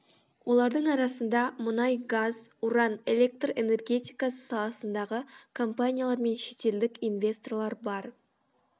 олардың арасында мұнай газ уран электр энергетикасы саласындағы компаниялар мен шетелдік инвесторлар бар